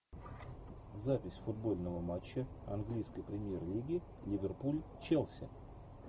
запись футбольного матча английской премьер лиги ливерпуль челси